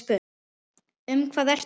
Um hvað ertu eigin